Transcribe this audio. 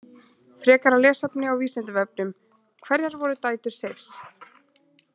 Frekara lesefni á Vísindavefnum: Hverjar voru dætur Seifs?